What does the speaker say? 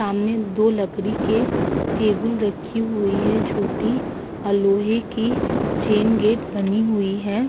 सामने दो लकड़ी के टेबल रखी हुई है छोटी और लोहे की चैन गेट बनी हुई है।